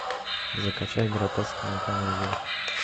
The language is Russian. закачай гротескную комедию